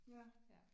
Ja